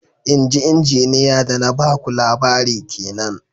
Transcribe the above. Inji Injiniya da na ba ku labari kenan